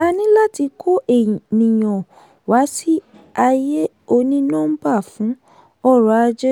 a ní láti kó ènìyàn wá sí ayé oní nọ́mbà fún ọrọ̀-ajé.